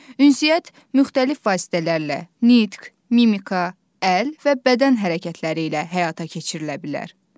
Ünsiyyət müxtəlif vasitələrlə, nitq, mimika, əl və bədən hərəkətləri ilə həyata keçirilə bilər.